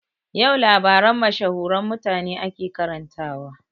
Yau labaran mashahuran mutane ake karantawa